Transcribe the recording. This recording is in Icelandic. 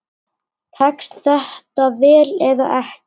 Tekst þetta vel eða ekki?